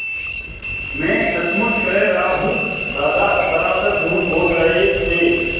मैं सचमुच कह रहा हूँ दादा सरासर झूठ बोल रहे थे